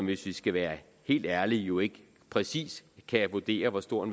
hvis vi skal være helt ærlige jo ikke præcis kan vurdere hvor stor